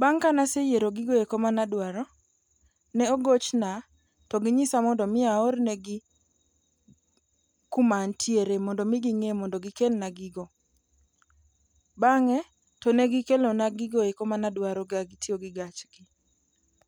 Bang' kanaseyiero gigo eko madwaro, ne ogochna to ginyisa mondo mi aornegi kuma antiere mondo mi ging'e mondo gikelna gigo. Bang'e to ne gikelona gigoeko manadwaro kagitiyo gi gachgi.